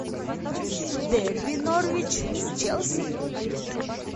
дерби норвич с челси